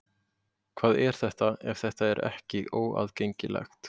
Hvað er þetta ef þetta er ekki óaðgengilegt?